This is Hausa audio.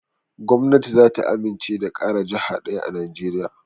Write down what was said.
Gwamnati zata amince da ƙara jaha ɗaya a najeriya